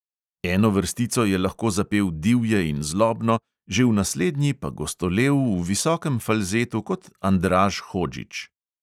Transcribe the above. Eno vrstico je lahko zapel divje in zlobno, že v naslednji pa gostolel v visokem falzetu kot andraž hodžić.